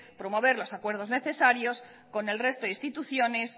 promover los acuerdos necesarios con el resto de instituciones